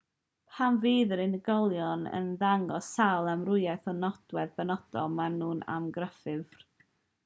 pan fydd yr unigolion yn dangos sawl amrywiad o nodwedd benodol maen nhw'n amryffurf